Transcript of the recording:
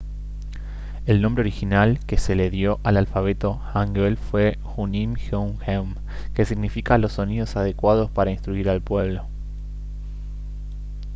el nombre original que se le dio al alfabeto hangeul fue hunmin jeongeum que significa «los sonidos adecuados para instruir al pueblo»